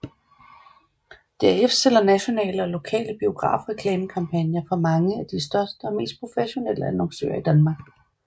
DRF sælger nationale og lokale biografreklamekampagner for mange af de største og mest professionelle annoncører i Danmark